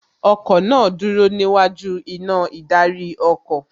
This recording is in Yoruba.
Ọkọ̀ náà dúró níwájú iná ìdarí ọkọ̀